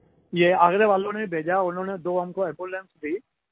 ये आगरा वालों ने ही भेजा उन्होंने दो हमको एम्बुलेंस दी